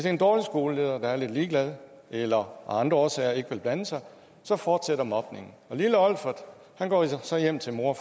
en dårlig skoleleder der er lidt ligeglad eller af andre årsager ikke vil blande sig så fortsætter mobningen lille olfert går så hjem til mor og